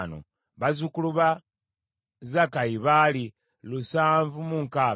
bazzukulu ba Zakkayi baali lusanvu mu nkaaga (760),